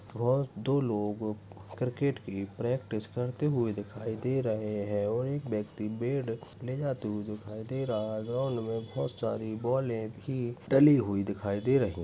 और दो लोग क्रिकेट की प्रैक्टिस करते हुए दिखाई दे रहे है और एक व्यक्ति बेट ले जाते हुए दिखाई दे रहा है ग्राउन्ड मे बहुत सारे बॉले भी डली हुई दिखाई दे रही --